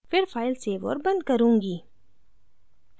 फिर file save और बंद करुँगी